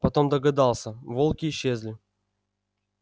потом догадался волки исчезли